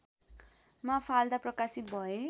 Mafalda प्रकाशित भए